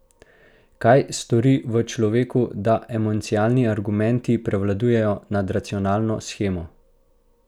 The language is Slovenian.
Kaj stori v človeku, da emocionalni argumenti prevladajo nad racionalno shemo?